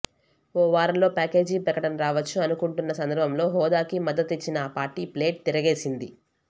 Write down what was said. ఓ వారంలో ప్యాకేజీ ప్రకటన రావచ్చు అనుకుంటున్న సందర్భంలో హోదాకి మద్ధతిచ్చిన ఆ పార్టీ ప్లేట్ తిరగేసింది